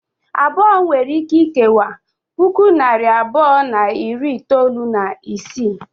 Abụọ nwere ike ikewa puku na narị abụọ na iri itolu na isii.